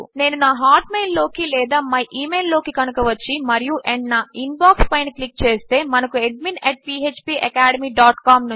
నేను నా హాట్మెయిల్ లోకి లేదా మై ఇమెయిల్ లోకి కనుక వచ్చి మరియు ఆండ్ నా ఇన్బాక్స్ పైన క్లిక్ చేస్తే మనకు అడ్మిన్ ఫ్పాకాడెమీ డాట్ కామ్